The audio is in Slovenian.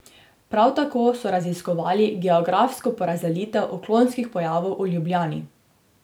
Prav tako so raziskovali geografsko porazdelitev odklonskih pojavov v Ljubljani.